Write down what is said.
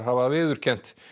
hafa viðurkennt